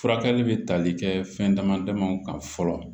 Furakɛli bɛ tali kɛ fɛn dama damaw kan fɔlɔ